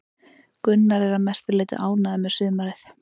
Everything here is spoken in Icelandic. Gunnar er að mestu leiti ánægður með sumarið.